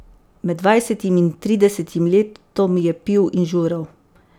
Med dvajsetim in tridesetim letom je pil in žural.